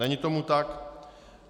Není tomu tak.